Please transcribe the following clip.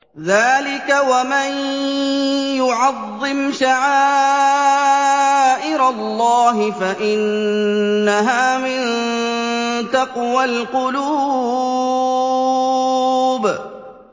ذَٰلِكَ وَمَن يُعَظِّمْ شَعَائِرَ اللَّهِ فَإِنَّهَا مِن تَقْوَى الْقُلُوبِ